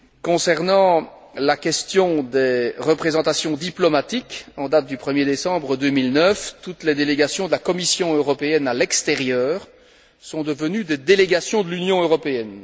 Concernant la question des représentations diplomatiques, en date du 1er décembre 2009, toutes les délégations de la Commission européenne à l'extérieur sont devenues des délégations de l'Union européenne.